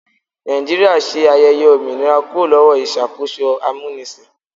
Nàìjíríà ṣe ayẹyẹ òmìnira kúrò lọ́wọ́ ìṣàkóso amúnisìn.